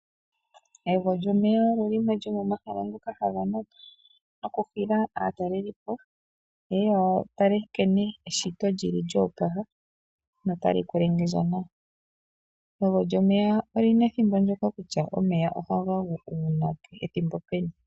Egwo lyomeya olyo limwe lyomomahala ngoka haga nana nokuhila aatalelipo ye ye ya tale nkene eshito lyo opala notali monika nawa. Egwo lyomeya oli na ethimbo ndyoka kutya omeya ohaga gu uunake, ethimbo peni.